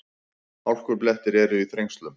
Hálkublettir eru í Þrengslum